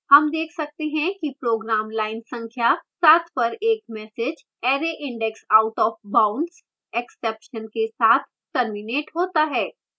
हम देख सकते हैं कि program line संख्या 7 पर एक message arrayindexoutofboundsexception के साथ terminates होता है